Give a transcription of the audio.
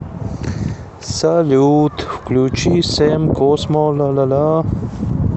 салют включи сэм космо ла ла ла